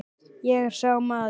Ég er sá maður.